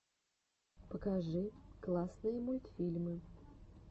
покажи классные мультфильмы